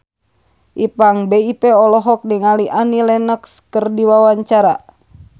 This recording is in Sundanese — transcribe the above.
Ipank BIP olohok ningali Annie Lenox keur diwawancara